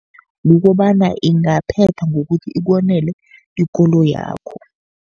Kukobana ingaphetha ngokuthi ikonele ikoloyakho.